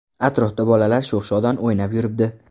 Atrofda bolalar sho‘x-shodon o‘ynab yuribdi.